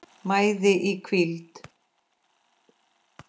mæði í hvíld